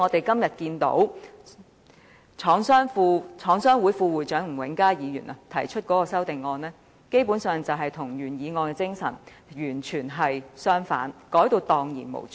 今天香港中華廠商聯合會副會長吳永嘉議員提出的修正案，基本上與原議案的精神完全背道而馳。